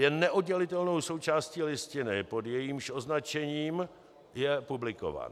Je neoddělitelnou součástí Listiny, pod jejímž označením je publikována.